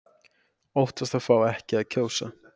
Óttast að fá ekki að kjósa